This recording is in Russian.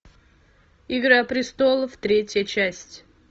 игра престолов третья часть